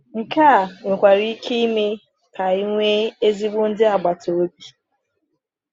Nke a nwekwara ike ime ka anyị nwee ezigbo ndị agbata obi.